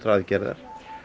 aðgerða